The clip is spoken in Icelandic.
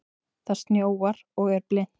Það snjóar og er blint.